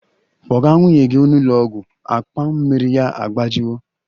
Kpọga nwunye gị n'ụlọ ọgwụ! Akpa mmiri ya agbajiwo